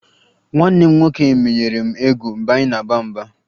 Nwanne m nwoke menyere m egwu mgbe anyị na-aba mba